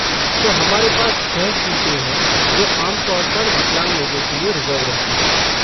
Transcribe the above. तो हमारे पास छः सीटें हैं जो आम तौर पर विकलांग लोगों के लिए रिज़र्व रहती हैं।